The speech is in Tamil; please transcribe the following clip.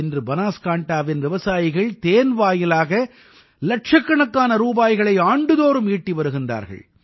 இன்று பனாஸ்காண்டாவின் விவசாயிகள் தேன் வாயிலாக இலட்சக்கணக்கான ரூபாய்களை ஆண்டுதோறும் ஈட்டி வருகின்றார்கள்